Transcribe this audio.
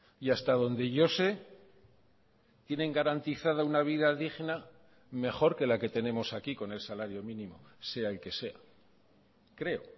y hasta donde yo se tienen garantizada una vida digna mejor que la que tenemos aquí con el salario mínimo sea el que sea creo